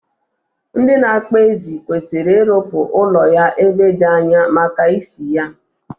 Ndị na-akpa ezi kwesiri irụpụ ụlọ ya ebe di anya, maka ushi ya